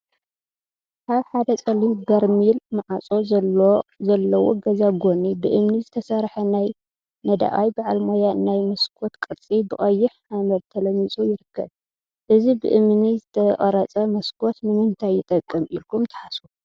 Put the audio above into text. አብ ሓደ ፀሊም በርሚል ማዕፆ ዘለዎ ገዛ ጎኒ ብእምኒ ዝተሰርሐ ናይ ነዳቃይ በዓል ሞያ ናይ መስኮት ቅርፂ ብቀይሕ ሓመድ ተለሚፁ ይርከብ፡፡ እዚ ብእምኒ ዝተቀረፀ መስኮት ንምንታይ ይጠቅም ኢልኩም ትሓስቡ?